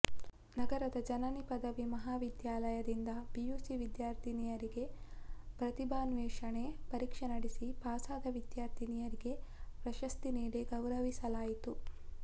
ನಗರದ ಜನನಿ ಪದವಿ ಮಹಾವಿದ್ಯಾಲಯ ದಿಂದ ಪಿಯುಸಿ ವಿದ್ಯಾರ್ಥಿನಿಯರಿಗಾಗಿ ಪ್ರತಿಭಾನ್ವೇಷಣೆ ಪರೀಕ್ಷೆ ನಡೆಸಿ ಪಾಸಾದ ವಿದ್ಯಾರ್ಥಿನಿಯರಿಗೆ ಪ್ರಶಸ್ತಿ ನೀಡಿ ಗೌರವಿಸಲಾಯಿತು